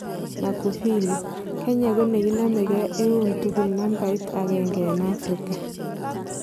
Magufili:Kenya ko nekinomege eun tugul nambait agenge en Afrika.